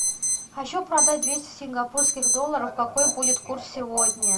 хочу продать двести сингапурских долларов какой будет курс сегодня